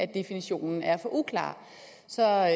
definitionen er for uklar så er